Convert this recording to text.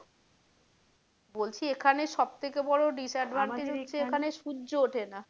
বলছি এখানে সব থেকে বড় disadvantage হচ্ছে আমাদের এখানে সূর্য ওঠেনা।